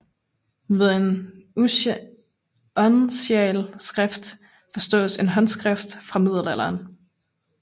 Ved en uncialskrift forstås en håndskriftstil fra middelalderen